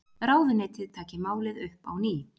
Ráðuneytið taki málið upp á ný